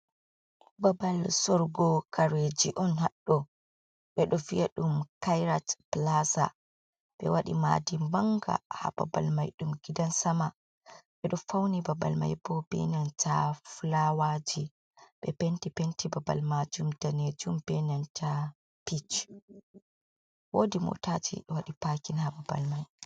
Babal sorugo kareji on haɗɗo. Ɓeɗo vi’a ɗum kayrat plaza. Ɓe waɗi ma'di manga ha babal mai, ɗum gidan sama, ɓe ɗo fauni babal mai bo ɓe nanta flawaji, be penti. Penti babal majum, danejum, be nanta pich. Wodi motaji waɗi pakin ha babal mai.